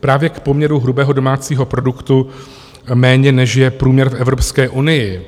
právě k poměru hrubého domácího produktu méně, než je průměr v Evropské unii.